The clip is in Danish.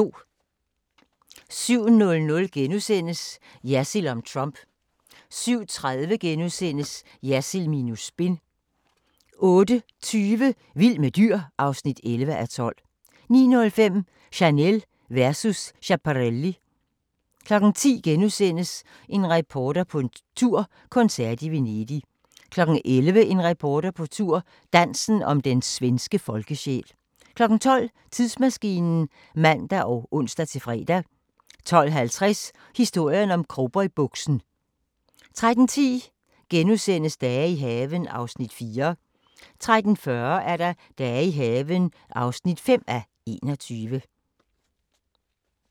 07:00: Jersild om Trump * 07:30: Jersild minus spin * 08:20: Vild med dyr (11:12) 09:05: Chanel versus Schiaparelli 10:00: En reporter på tur – koncert i Venedig * 11:00: En reporter på tur – Dansen om den svenske folkesjæl 12:00: Tidsmaskinen (man og ons-fre) 12:50: Historien om cowboybuksen 13:10: Dage i haven (4:21)* 13:40: Dage i haven (5:21)